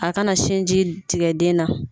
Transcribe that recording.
A kana sinji tigɛ den na.